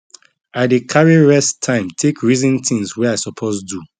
i dey carry rest time take reason things wey i suppose do